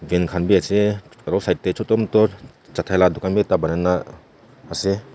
kan khan bi ase aro side tae choto moto chatai la dukan bi ekta banai na ase.